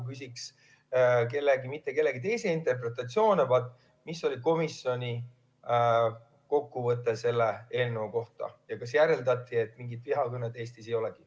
Ma ei küsi mitte kellegi teise interpretatsioone, vaid seda, milline oli komisjoni kokkuvõte selle eelnõu kohta ja kas järeldati, et mingit vihakõnet Eestis ei olegi.